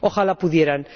¡Ojalá pudieran!